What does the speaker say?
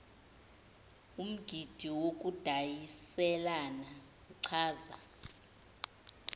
umgidi wokudayiselana uchaza